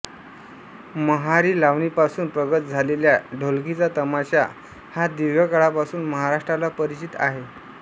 महारी लावणीपासून प्रगत झालेल्या ढोलकीचा तमाशा हा दीर्घकाळापासून महाराष्ट्राला परिचित आहे